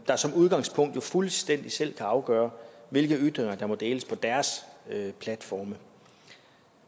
der som udgangspunkt jo fuldstændig selv kan afgøre hvilke ytringer der må deles på deres platforme